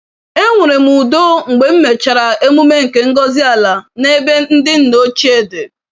Enwere m udo mgbe m mechara emume nke ngọzi-ala n'ebe ndị nna ochie dị.